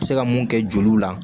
Se ka mun kɛ joliw la